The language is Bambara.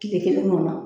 Kile kelen kɔnɔ